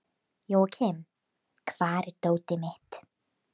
Jóakim, hvar er dótið mitt?